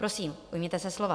Prosím, ujměte se slova.